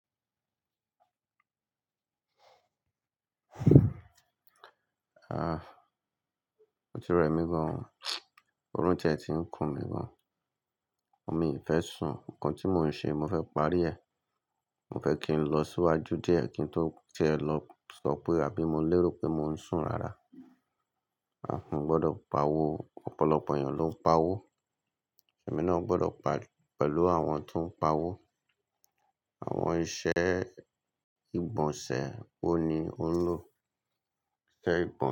Ah, o ti rẹ̀ mí gan, ọrún tẹ́ ti ń kún mí gan. Mi ì fẹ́ sùn, ǹkan tí mò ń ṣe, mo fẹ́ parí rẹ̀. Mo fẹ́ kí n lọ síwájú díẹ̀ kí n tó ti e lọ sọ pé àbí mo lérò pé mò ń sùn rárá. A mo gbọdọ̀ pa owó, ọ̀pọ̀lọpọ̀ ènìyàn ló ń pa owó. Ẹ̀mí náà gbọ́dọ̀ pari pẹ̀lú àwọn tó ń pa owó. Àwọn iṣẹ́ ìgbọ̀nsẹ̀ wo ni ó ń lò? Ìṣe ìgbọ̀nsẹ̀